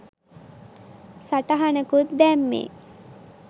සටහනකුත් දැම්මේ .